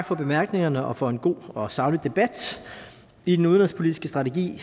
for bemærkningerne og for en god og saglig debat i den udenrigspolitiske strategi